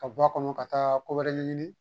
Ka bɔ a kɔnɔ ka taa ko wɛrɛ ɲɛɲini